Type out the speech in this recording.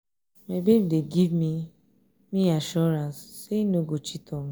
my babe dey give me me assurance say he no go cheat on me.